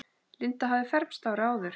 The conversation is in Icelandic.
Linda hafði fermst árið áður.